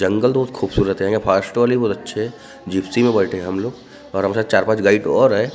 जंगल तो बहुत खूबसूरत है बहुत अच्छे जिप्सी में बैठे हम लोग और हमसे चार पाँच गाइड ओर हे।